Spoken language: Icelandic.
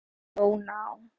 Íslenska orðið skál sé þó ná